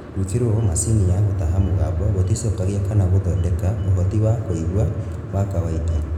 Gwĩkĩrwo macini ya gũtaha mũgambo gũticokagia kana gũthondeka ũhoti wa kũigua wa kawaida